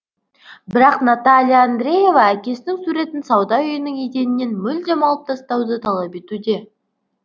бірақ наталия андреева әкесінің суретін сауда үйінің еденінен мүлдем алып тастауды талап етуде